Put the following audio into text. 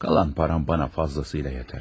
Qalan pulum mənə kifayət qədər yetər.